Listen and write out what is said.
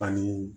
Ani